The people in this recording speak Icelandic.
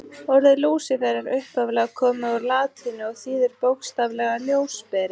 Orðið Lúsífer er upphaflega komið úr latínu og þýðir bókstaflega ljósberi.